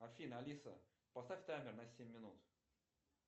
афина алиса поставь таймер на семь минут